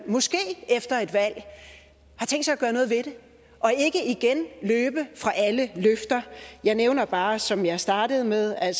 måske efter et valg har tænkt sig at gøre noget ved det og ikke igen løber fra alle løfter jeg nævner bare som jeg startede med at